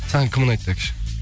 саған кім ұнайды